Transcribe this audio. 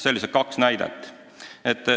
Sellised kaks näidet.